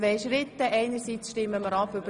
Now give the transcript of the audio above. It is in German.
Frau Regierungsrätin Simon ist auch da.